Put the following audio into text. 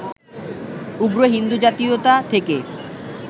উগ্র হিন্দু জাতীয়তা থেকে